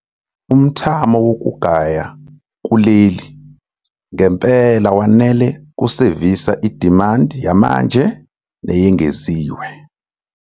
Umthamo wokugaya kuleli ngempela wanele ukusevisa idimandi yamanje neyengeziwe.